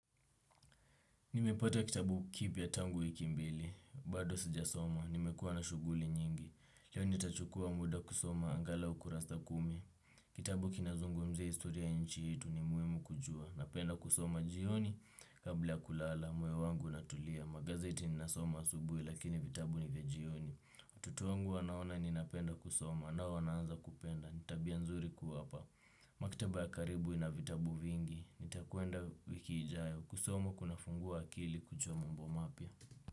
Nimepata kitabu kipya tangu wiki mbili. Bado sijasoma. Nimekuwa na shughuli nyingi. Leo nitachukua muda kusoma angalau kurasa kumi. Kitabu kinazungumzia historia ya nchi yetu ni muhimu kujua. Napenda kusoma jioni, kabla ya kulala. Moyo wangu unatulia. Magazeti ninasoma asubuhi, lakini vitabu ni vya jioni. Watoto wangu wanaona ninapenda kusoma, nao wanaanza kupenda. Ni tabia nzuri kuwapa. Maktaba ya karibu ina vitabu vingi. Nitakwenda wiki ijayo. Kusoma kunafungua akili kujua mambo mapya.